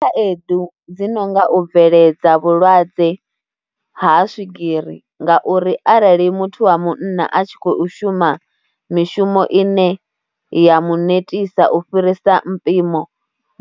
Khaedu dzi no nga u bveledza vhulwadze ha swigiri ngauri arali muthu wa munna a tshi khou shuma mishumo ine ya mu netisa u fhirisa mpimo